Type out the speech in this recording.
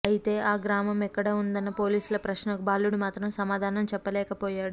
అయితే ఈ గ్రామం ఎక్కడ ఉందన్న పోలీసుల ప్రశ్నకు బాలుడు మాత్రం సమాధానం చెప్పలేకపోయాడు